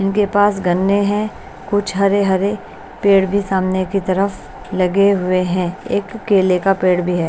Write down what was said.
इनके पास गन्ने हैं कुछ हरे-हरे पेड़ भी सामने की तरफ लगे हुए हैं एक केले का पेड़ भी है।